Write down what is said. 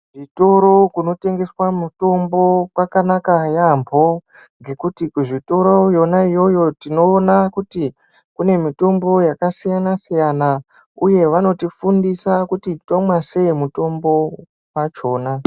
Zvitoro kunotengeswa mjtombo kwanaka yaambo ngekuti kuzvitoro yona iyoyo tinoona kuti kune mitombo yakasiyana-siyana uye vanotifundisa kuti tomwa sei mutombo wachona.